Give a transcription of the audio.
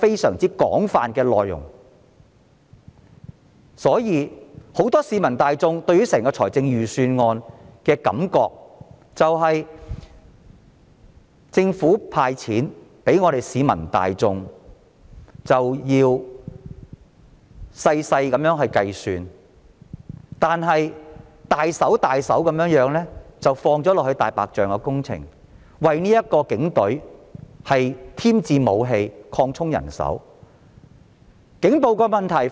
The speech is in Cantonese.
所以，很多市民對預算案的感覺是，政府"派錢"給市民要仔細計算，卻大手筆地花在"大白象"工程上，以及為警隊添置武器和擴充人手編制。